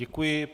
Děkuji.